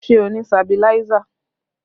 Ṣé o ni sabiláísà?